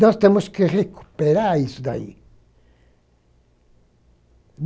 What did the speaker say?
Nós temos que recuperar isso daí.